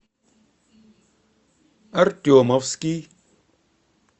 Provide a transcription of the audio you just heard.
артемовский